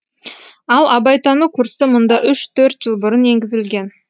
ал абайтану курсы мұнда үш төрт жыл бұрын енгізілген